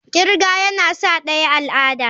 kirga yana sa daya al'ada.